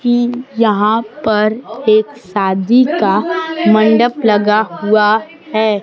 की यहां पर एक शादी का मंडप लगा हुआ हैं।